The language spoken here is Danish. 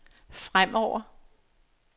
fremover